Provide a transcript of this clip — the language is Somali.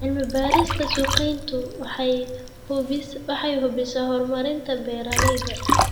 Cilmi-baarista suuqgeyntu waxay hubisaa horumarinta beeralayda.